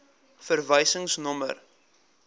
verwysingsnommer